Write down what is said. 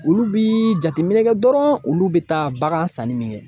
Olu bi jateminɛ kɛ dɔrɔn olu be taa bagan sanni min kɛ